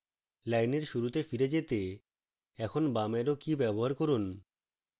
লাইনের শুরুতে ফিরে যেতে এখন বাম arrow key ব্যবহার করুন